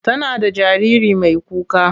Tana da jariri mai kuka.